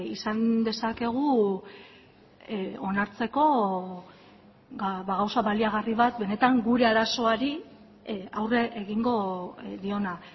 izan dezakegu onartzeko gauza baliagarri bat benetan gure arazoari aurre egingo diona